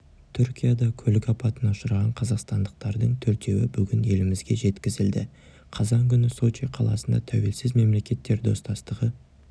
түркияда көлік апатына ұшыраған қазақстандықтардың төртеуі бүгін елімізге жеткізілді қазан күні сочи қаласында тәуелсіз мемлекеттер достастығы